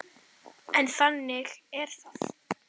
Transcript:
En þannig er það.